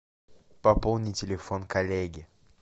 пополни телефон коллеге